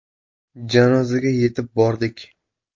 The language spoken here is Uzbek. Janozaga yetib bordik.